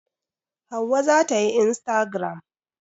Hauwa za ta yi instagaram.